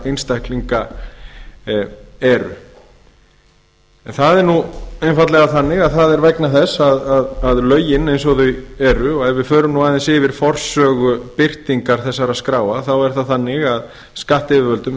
einstaklinga eru það er nú einfaldlega þannig að það er vegna þess að lögin eins og þau eru og ef við förum nú aðeins yfir forsögu birtingar þessara skráa þá er það þannig að skattyfirvöldum